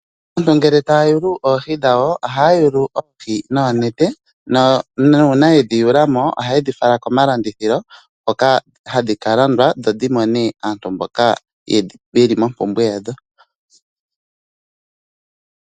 Aantu ngele ta ya yulu oohi dhawo, oha ya yulu oohi noo nete, nuuna yedhi yulamo, oha ye dhifala komalandithilo ho ka hadhi kalandwa dho dhimone aantu mboka ye li mompumbwe yadho.